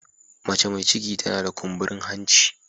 Mace mai ciki tana da kumburin hanci.